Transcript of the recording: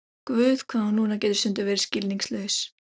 Guð, hvað Lúna getur stundum verið skilningslaus.